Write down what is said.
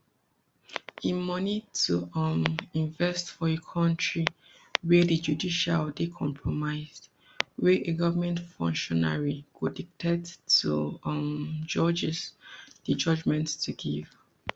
im money to um invest for a kontri wia di judiciary dey compromised wia a goment functionary go detect to um judges di judgement to give